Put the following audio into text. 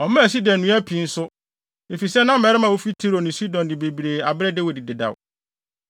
Ɔmaa sida nnua pii nso, efisɛ na mmarima a wofi Tiro ne Sidon de bebree abrɛ Dawid dedaw.